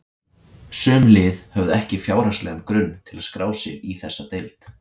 Sum lið höfðu ekki fjárhagslegan grunn til að skrá sig í þessa deild.